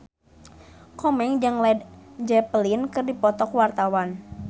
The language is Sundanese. Komeng jeung Led Zeppelin keur dipoto ku wartawan